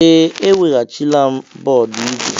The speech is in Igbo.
Ee, eweghachila m bọọdụ ígwè.